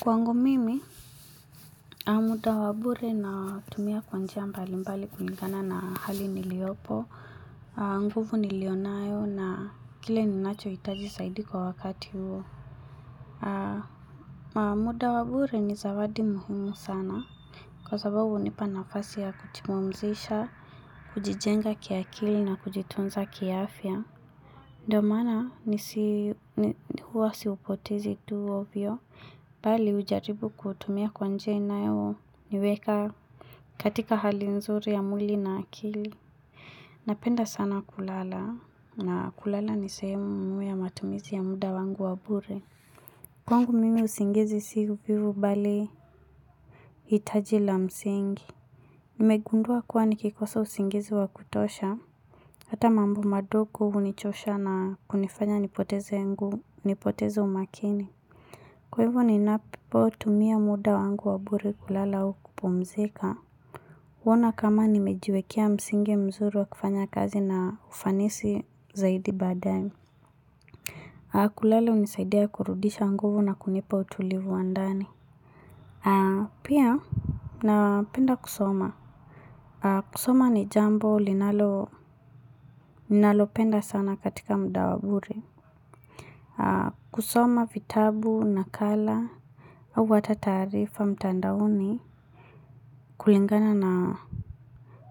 Kwangu mimi, muda wa bure natumia kwa njia mbali mbali kulingana na hali niliopo. Nguvu niliyonayo na kile ninachohitaji zaidi kwa wakati huo. Muda wa bure ni zawadi muhimu sana. Kwa sababu unipa nafasi ya kujipumzisha, kujijenga kiakili na kujitunza kiaafya. Ndo maana huwa siupotezi tu ovyo, bali hujaribu kuhutumia kwa njia inayo niweka katika hali nzuri ya mwili na akili. Napenda sana kulala na kulala ni sehemu ya matumizi ya muda wangu wa bure. Kwangu mimi usingizi siku pivu bali itajila msingi. Nimegundua kuwa nikikosa usingizi wa kutosha. Hata mambo madogo unichosha na kunifanya nipoteze umakini. Kwa hivo ninapotumia muda wangu wabure kulala au kupomzika. Kuona kama nimejiwekea msingi mzuru wa kifanya kazi na ufanisi zaidi badae. Kulala unisaidia kurudisha nguvu na kunipa utulivu wa ndani. Pia napenda kusoma. Kusoma ni jambo ninalopenda sana katika muda wa bure. Kusoma vitabu nakala au ata taarifa mtandaoni kulingana na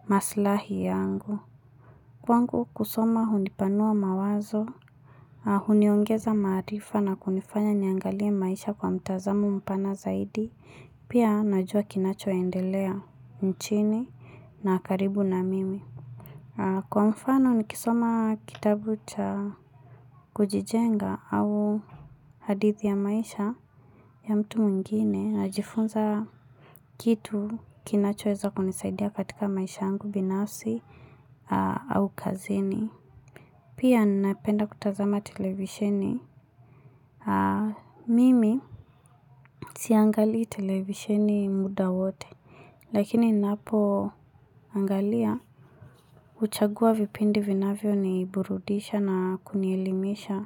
masilahi yangu Kwangu kusoma hundipanua mawazo, huniongeza maarifa na kunifanya niangalia maisha kwa mtazamo mpana zaidi Pia najua kinachoendelea nchini na karibu na mimi. Kwa mfano nikisoma kitabu cha kujijenga au hadithi ya maisha ya mtu mwingine, najifunza kitu kinachoeza kunisaidia katika maisha angu binafsi au kazini Pia napenda kutazama televisheni Mimi siangalii televisheni muda wote Lakini ninapoangalia uchagua vipindi vinavyo niburudisha na kunielimisha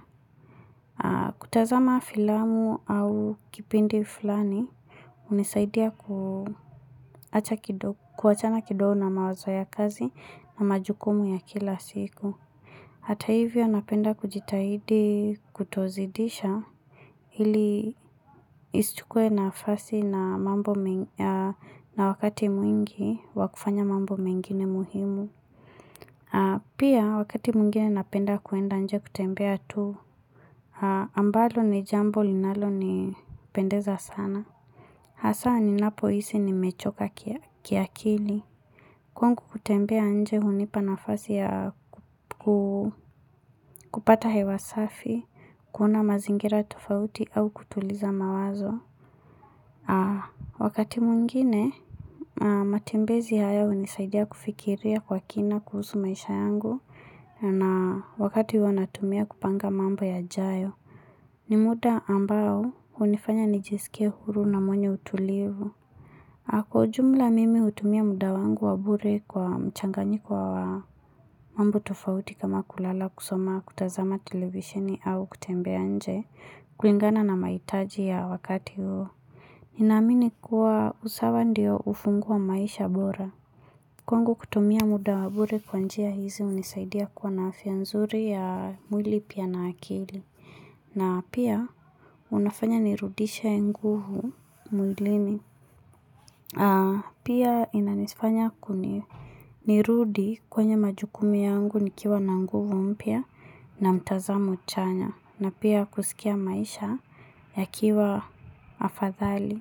kutazama filamu au kipindi fulani hunisaidia kuachana kidogo na mawazo ya kazi na majukumu ya kila siku Hata hivyo napenda kujitahidi kutozidisha Hili nisichukue nafasi na wakati mwingi wa kufanya mambo mengine muhimu Pia wakati mwingine napenda kuenda nje kutembea tu ambalo ni jambo linalo nipendeza sana hasa ni napo hisi nimechoka kiakili. Kwangu kutembea nje hunipa nafasi ya kupata hewa safi, kuona mazingira tofauti au kutuliza mawazo. Wakati mwingine, matembezi haya unisaidia kufikiria kwa kina kuhusu maisha yangu na wakati huwa natumia kupanga mambo yajayo. Ni muda ambao hunifanya nijisike huru na mwenye utulivu. Kwa ujumla mimi utumia muda wangu wa bure kwa mchanganyiko wa mambo tofauti kama kulala kusoma kutazama televisheni au kutembea nje kulingana na mahitaji ya wakati huo. Ninaamini kuwa usawa ndio ufungua maisha bora. Kwangu kutumia muda wa bure kwa njia hizi unisaidia kwa na afya nzuri ya mwili pia na akili. Na pia unafanya nirudishe nguvu mwilini. Pia inanifanya nirudi kwenye majukumu yangu nikiwa na nguvu mpya na mtazamo chanya na pia kusikia maisha ya kiwa afadhali.